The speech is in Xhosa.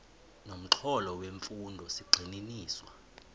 nomxholo wemfundo zigxininiswa